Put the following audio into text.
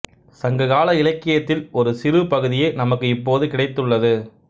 சங்க கால இலக்கியத்தில் ஒரு சிறு பகுதியே நமக்கு இப்போது கிடைத்துள்ளது